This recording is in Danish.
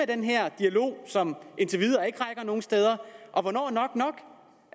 den her dialog som indtil videre ikke rækker nogen steder og hvornår er nok nok